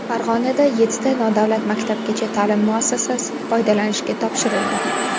Farg‘onada yettita nodavlat maktabgacha ta’lim muassasasi foydalanishga topshirildi.